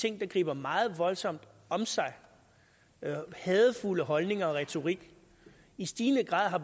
ting der griber meget voldsomt om sig med hadefulde holdninger og retorik i stigende grad har